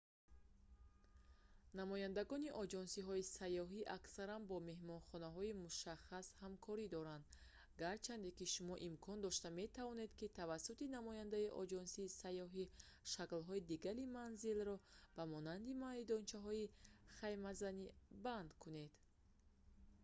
намояндагони оҷонсиҳои сайёҳӣ аксаран бо меҳмонхонаҳои мушаххас ҳамкорӣ доранд гарчанде ки шумо имкон дошта метавонед ки тавассути намояндаи оҷонсии сайёҳӣ шаклҳои дигари манзилро ба монанди майдончаҳои хаймазанӣ банд кунед